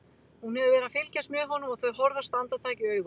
Hún hefur verið að fylgjast með honum og þau horfast andartak í augu.